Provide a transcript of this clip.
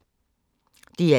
DR1